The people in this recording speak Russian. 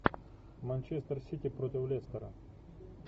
манчестер сити против лестера